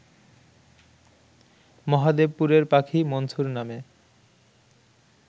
মহাদেবপুরের পাখি মনসুর নামে